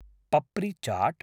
papri Chaat